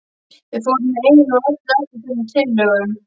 Við fórum í einu og öllu eftir þessum tillögum.